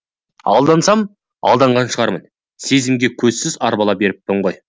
алдансам алданған шығармын сезімге көзсіз арбала беріппін ғой